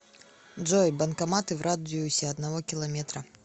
джой банкоматы в радиусе одного километра